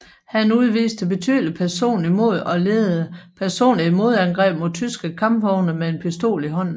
Han udviste betydeligt personligt mod og ledede personligt et modangreb mod tyske kampvogne med en pistol i hånden